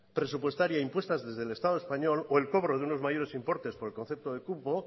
presupuestaria impuestas desde el estado español o el cobro de unos mayores importantes por el concepto de cupo